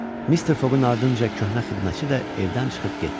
Mister Foqqun ardınca köhnə xidmətçi də evdən çıxıb getdi.